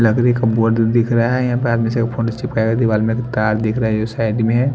लकरी का बोर्ड दिख रहा है यहां पे आदमी सब का फोटो चिपकाया हुआ दिवाल में एक तार दिख रहा हैं साइड में--